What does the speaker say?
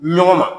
Ɲɔgɔn ma